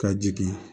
Ka jigin